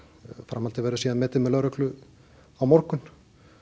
framhaldið verður síðan metið með lögreglu á morgun